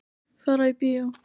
Fara í bíó.